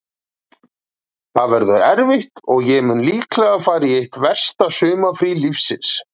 Það verður erfitt og ég mun líklega fara í eitt versta sumarfrí lífsins.